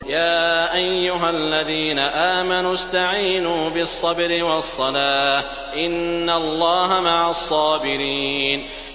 يَا أَيُّهَا الَّذِينَ آمَنُوا اسْتَعِينُوا بِالصَّبْرِ وَالصَّلَاةِ ۚ إِنَّ اللَّهَ مَعَ الصَّابِرِينَ